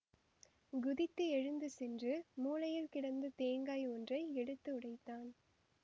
குதித்து எழுந்து சென்று மூலையில் கிடந்த தேங்காய் ஒன்றை எடுத்து உடைத்தான்